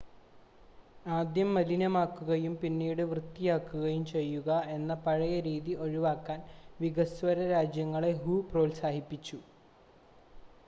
"''ആദ്യം മലിനമാക്കുകയും പിന്നീട് വൃത്തിയാക്കുകയും ചെയ്യുക എന്ന പഴയ രീതി ഒഴിവാക്കാൻ" വികസ്വര രാജ്യങ്ങളെ ഹു പ്രോത്സാഹിപ്പിച്ചു.